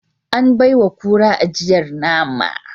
An baiwa kura ajiyar nama